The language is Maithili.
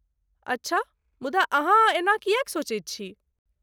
अच्छा ,मुदा अहाँ एना किएक सोचैत छी?